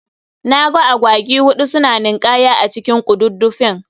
Naga Agwagi huɗu suna nin'kaya a cikin ƙududdufin.